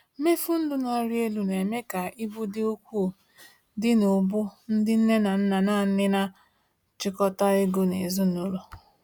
Mmefu ndụ na-arị elu na-eme ka ibu dị ukwuu dị n’ubu ndị nne na nna nanị na-achịkọta ego n’ezinụlọ.